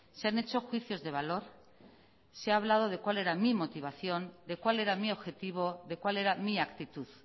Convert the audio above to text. se han hecho juicios de valor se ha hablado de cuál era mi motivación de cuál era mi objetivo de cuál era mi actitud